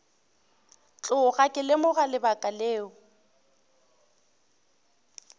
tloga ke lemoga lebaka leo